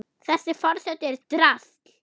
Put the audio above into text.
Þessi forseti er drasl!